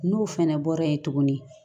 N'o fɛnɛ bɔra yen tuguni